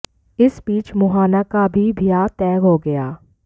इस बीच मोहना का भी बियाह तय हो गया